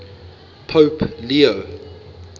pope leo